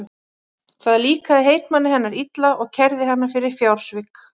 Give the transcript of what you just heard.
Það líkaði heitmanni hennar illa og kærði hana fyrir fjársvik.